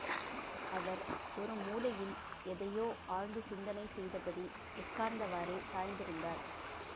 அவர் ஒரு மூலையில் எதையோ ஆழ்ந்து சிந்தனை செய்தபடி உட்கார்ந்தவாறே சாய்ந்திருந்தார்